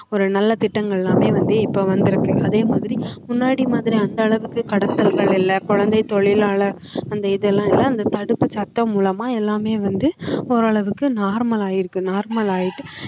ஒரு நல்ல திட்டங்கள் எல்லாமே வந்து இப்ப வந்திருக்கு அதே மாதிரி முன்னாடி மாதிரி அந்த அளவுக்கு கடத்தல்கள் இல்லை குழந்தைத் தொழிலாளர் அந்த இது எல்லாம் இல்லை அந்த தடுப்புச் சட்டம் மூலமா எல்லாமே வந்து ஓரளவுக்கு normal ஆயிருக்கு normal ஆயிட்டு